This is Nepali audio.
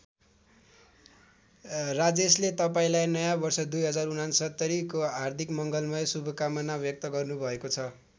राजेशले तपाईँलाई नयाँ वर्ष २०६९ को हार्दिक मङ्गलमय शुभकामना व्यक्त गर्नुभएको छ।